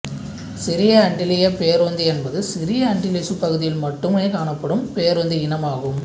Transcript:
சிறிய அண்டிலியப் பேரோந்தி என்பது சிறிய அண்டிலிசு பகுதியில் மட்டுமே காணப்படும் பேரோந்தி இனம் ஆகும்